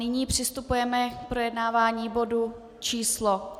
Nyní přistupujeme k projednávání bodu číslo